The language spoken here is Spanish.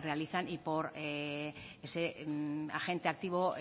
realizan y por ese agente activo